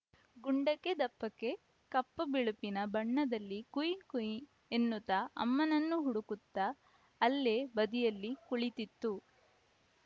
ಗುಂಡಕೆ ದಪ್ಪಕ್ಕೆ ಕಪ್ಪು ಬಿಳುಪಿನ ಬಣ್ಣದಲ್ಲಿ ಕುಯ್‌ ಕುಯ್‌ ಎನ್ನುತ್ತಾ ಅಮ್ಮನನ್ನು ಹುಡುಕುತ್ತಾ ಅಲ್ಲೇ ಬದಿಯಲ್ಲಿ ಕುಳಿತಿತ್ತು